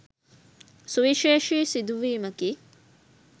සුවිශේෂී සිදුවීමකි.